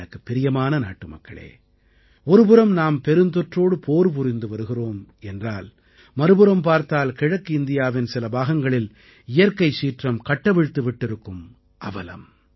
எனக்குப் பிரியமான நாட்டுமக்களே ஒருபுறம் நாம் பெருந்தொற்றோடு போர் புரிந்து வருகிறோம் என்றால் மறுபுறம் பார்த்தால் கிழக்கு இந்தியாவின் சில பாகங்களில் இயற்கைச் சீற்றம் கட்டவிழ்த்து விட்டிருக்கும் அவலம்